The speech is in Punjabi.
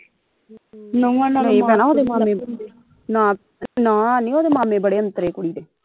ਨਹੀਂ ਭੈਣਾ ਉਹਦੇ ਮਾਮੇ ਨਾ ਨਾ ਨੀ ਉਹਦੇ ਮਾਮੇ ਬੜੇ ਔਂਤਰੇ ਕੁੜੀ ਦੇ